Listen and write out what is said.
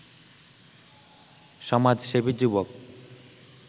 সমাজসেবী যুবক